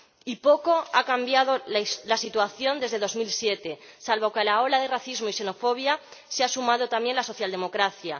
Y poco ha cambiado la situación desde 2007, salvo que a la ola de racismo y xenofobia se ha sumado también la socialdemocracia.